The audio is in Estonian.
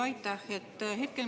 Aitäh!